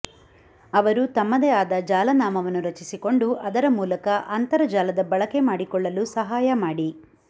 ಅವರು ತಮ್ಮದೇ ಆದ ಜಾಲನಾಮವನ್ನು ರಚಿಸಿಕೊಂಡು ಅದರ ಮೂಲಕ ಅಂತರಜಾಲದ ಬಳಕೆ ಮಾಡಿಕೊಳ್ಳಲು ಸಹಾಯ ಮಾಡಿ